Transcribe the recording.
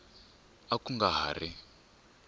a ku nga ha ri